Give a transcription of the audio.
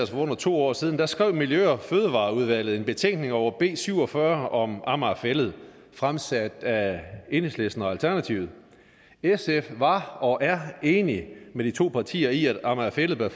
for under to år siden skrev miljø og fødevareudvalget en betænkning over b syv og fyrre om amager fælled fremsat af enhedslisten og alternativet sf var og er enige med de to partier i at amager fælled